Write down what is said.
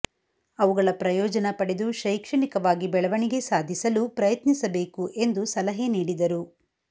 ಅವುಗಳ ಪ್ರಯೋಜನ ಪಡೆದು ಶೈಕ್ಷಣಿಕವಾಗಿ ಬೆಳವಣಿಗೆ ಸಾಧಿಸಲು ಪ್ರಯತ್ನಿಸಬೇಕು ಎಂದು ಸಲಹೆ ನೀಡಿದರು